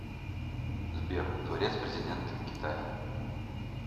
сбер дворец президент китая